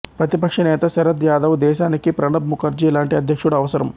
ప్రతిపక్ష నేత శరద్ యాదవ్ దేశానికి ప్రణబ్ ముఖర్జీ లాంటి అధ్యక్షుడు అవసరం